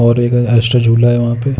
और एक एक्स्ट्रा झोला है वहाँ पे --